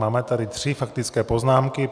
Máme tady tři faktické poznámky.